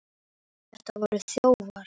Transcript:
Þetta voru þjófar!